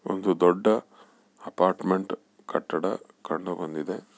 ಒಂದು ದೊಡ್ಡ ಅಪಾರ್ಟ್ಮೆಂಟ್ ಕಟ್ಟಡ ಕಂಡು ಬಂದಿದೆ.